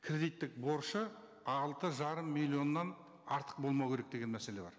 кредиттік борышы алты жарым миллионнан артық болмау керек деген мәселе бар